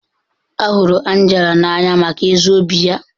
A hụrụ Angela n'anya maka ezi obi ya.